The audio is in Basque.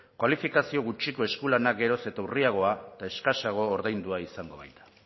kualifikazio gutxiko eskulanak geroz eta urriagoa eta eskasago ordaindua izango baita